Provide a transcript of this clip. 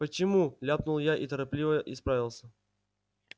почему ляпнул я и торопливо исправился